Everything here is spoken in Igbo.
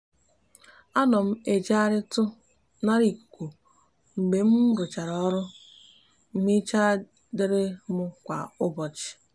a no m ejegharitu nara ikuku mgbe mruchara oru nhicha diri mu kwa ubochi